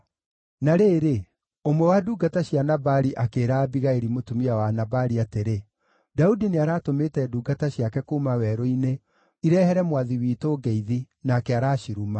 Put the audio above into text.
Na rĩrĩ, ũmwe wa ndungata cia Nabali akĩĩra Abigaili mũtumia wa Nabali atĩrĩ, “Daudi nĩaratũmĩte ndungata ciake kuuma werũ-inĩ irehere mwathi witũ ngeithi, nake araciruma.